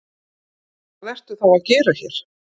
Hvað ertu þá að gera hér?